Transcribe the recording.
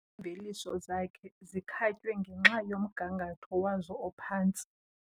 Iimveliso zakhe zikhatywe ngenxa yomgangatho wazo ophantsi.